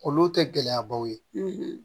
Olu tɛ gɛlɛyabaw ye